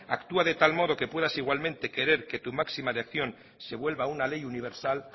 actúa de tal modo que puedas igualmente querer que tu máxima de acción se vuelva una ley universal